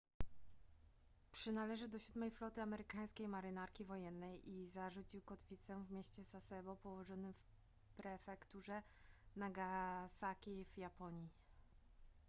przynależy do siódmej floty amerykańskiej marynarki wojennej i zarzucił kotwicę w mieście sasebo położonym w prefekturze nagasaki w japonii